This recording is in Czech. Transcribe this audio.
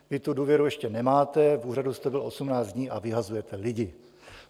Vy tu důvěru ještě nemáte, v úřadu jste byl 18 dní a vyhazujete lidi.